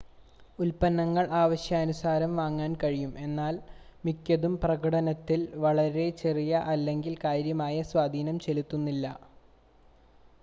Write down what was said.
ഉൽപ്പന്നങ്ങൾ ആവശ്യാനുസരണം വാങ്ങാൻ കഴിയും എന്നാൽ മിക്കതും പ്രകടനത്തിൽ വളരെ ചെറിയ അല്ലെങ്കിൽ കാര്യമായ സ്വാധീനം ചെലുത്തുന്നില്ല